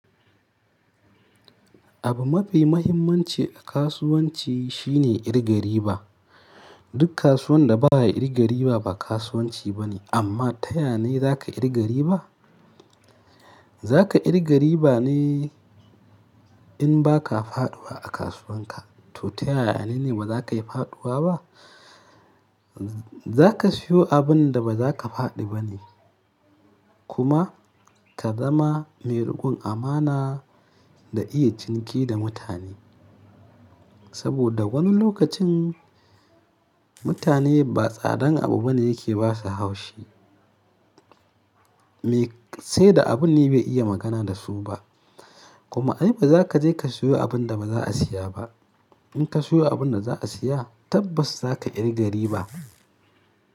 Abu mafi mahimmanci a kasuwanci shine irga riba. Duk kasuwan da ba ya irga riba, ba kasuwanci ba ne. Amma ta yane za ka irga riba? Za ka irga riba ne in ba ka faɗuwa a kasuwan ka, to ta yayane ne ba za ka yi faɗuwa ba? Za ka sayo abin da ba za ka faɗi ba ne, kuma ka zama mai riƙon amana da iya ciniki da mutane. Saboda wani lokacin mutane ba tsadan abu bane yake basa haushi. Me sai da abun ne bai iya magana da su ba, kuma ai ba za ka je ka sayo abun da ba za a siya ba. In ka sayo abun da za a siya tabbas za ka kirgari ba.